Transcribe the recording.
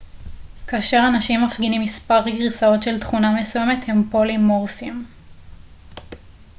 כאשר אנשים מפגינים מספר גרסאות של תכונה מסוימת הם פולימורפיים